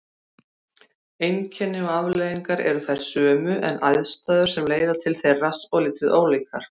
Einkenni og afleiðingar eru þær sömu en aðstæður sem leiða til þeirra svolítið ólíkar.